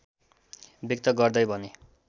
व्यक्त गर्दै भने